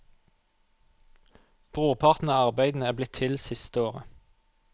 Brorparten av arbeidene er blitt til det siste året.